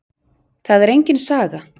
Það er engin saga.